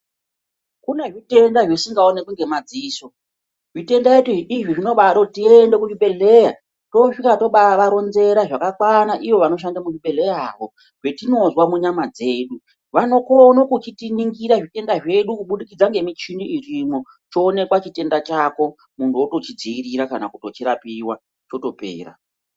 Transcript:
Kune zvitenda zvisingaonekwi ngemadziso. Zvitenda izvi zvinobade kuti tiende kuzvibhedhleya, tosvika tobavaronzera zvakakwana ivo vanoshande muzvibhedhleyamo, zvetinozwa munyama dzedu. Vanokono kuchitiningira zvitenda zvedu kubudikidza ngemichini irimwo, choonekwa chitenda chako. Muntu otochidziirira kana kutochirapiwa, chotopera.